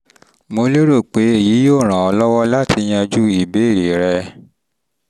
mo lérò pé èyí yóò ràn ọ́ um lọ́wọ́ láti yanjú ìbéèrè um rẹ um rẹ um